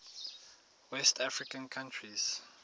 west african countries